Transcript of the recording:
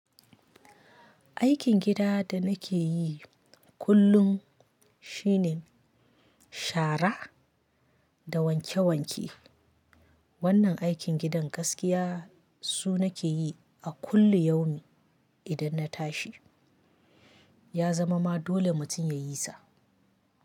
Aikin gida da nake yi kullum shine shara da wanke wanke. Wannan aikin gidan gaskiya su nake yi a kullu yaumi idan na tashi. Ya zama ma dole mutum ya yi sa.